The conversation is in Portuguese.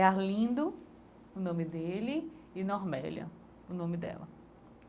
É Arlindo, o nome dele, e Normélia o nome dela.